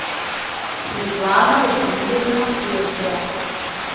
светлана васильевна кезля